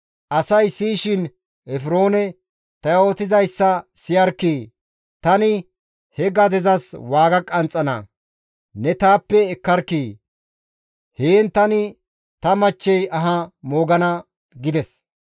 asay siyishin Efroone, «Ta yootizayssa siyarkkii! Tani he gadezas waaga qanxxana; ne taappe ekkarkkii! Heen tani ta machchey aha moogana» gides.